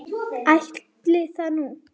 Ætli það nú.